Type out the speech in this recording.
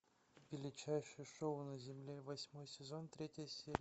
величайшее шоу на земле восьмой сезон третья серия